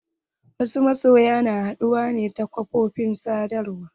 Wasu masoyan na haɗuwa ne ta ƙafofin sadawar.